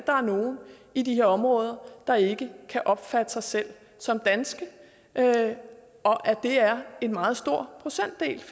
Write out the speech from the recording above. er nogle i de her områder der ikke kan opfatte sig selv som danske og at det er en meget stor procentdel